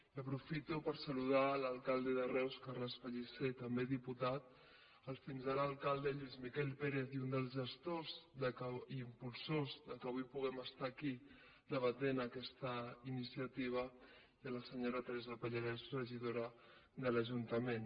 i aprofito per saludar l’alcalde de reus carles pellicer també diputat el fins ara alcalde lluís miquel pérez i un dels gestors i impulsors que avui puguem estar aquí debatent aquesta iniciativa i a la senyora teresa pallarès regidora de l’ajuntament